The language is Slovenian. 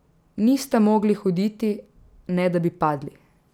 Nista mogli hoditi, ne da bi padli.